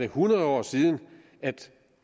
hundrede år siden at